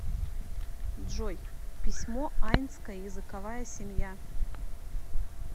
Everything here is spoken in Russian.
джой письмо айнская языковая семья